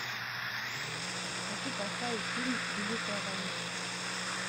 хочу поставить фильм великая война